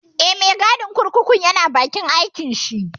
Eh, mai gadin kurkukun ya na bakin aikin shi